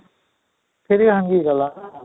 ବି ଭାଙ୍ଗି ଗଲା ନା?